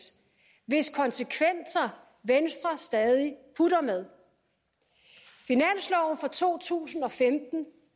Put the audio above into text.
hvis konsekvenser venstre stadig putter med finansloven for to tusind og femten